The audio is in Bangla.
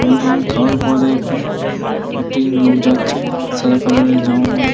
অনেক রকমের খাবার পাওয়া যায় এখানে। একটি লোক যাচ্ছে সাদা কালার -এর জামা পড়ে।